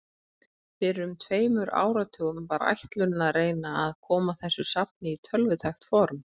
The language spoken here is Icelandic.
Fyrir um tveimur áratugum var ætlunin að reyna að koma þessu safni í tölvutækt form.